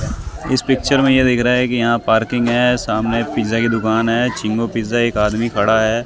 इस पिक्चर में यह दिख रहा है कि यहां पार्किंग है सामने पिज़्ज़ा की दुकान है छिगो पिज़्ज़ा एक आदमी खड़ा है।